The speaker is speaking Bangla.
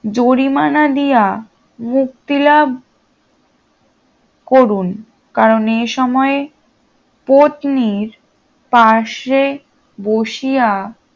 জরিমানা দিয়া মুক্তিলাভ করুন কারণ এ সময়ে পত্নীর পাশে বসিয়া